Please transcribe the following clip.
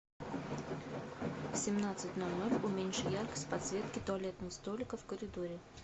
в семнадцать ноль ноль уменьши яркость подсветки туалетного столика в коридоре